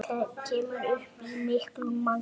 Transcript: Kemur upp í miklu magni.